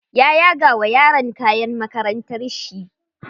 Ya yaga wa yaron kayan makarantar shi.